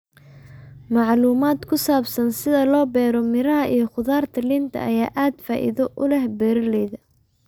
Macluumaadka ku saabsan sida loo beero miraha iyo khudaarta liinta ayaa aad faa'iido u leh beeralayda.